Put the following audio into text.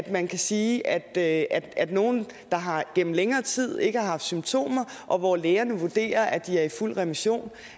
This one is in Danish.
man kan sige at at nogle der gennem længere tid ikke har haft symptomer og hvor lægerne vurderer at de er i fuld remission